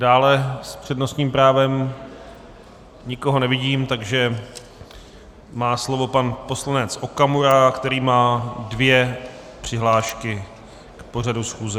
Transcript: Dále s přednostním právem nikoho nevidím, takže má slovo pan poslanec Okamura, který má dvě přihlášky k pořadu schůze.